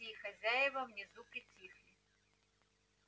гости и хозяева внизу притихли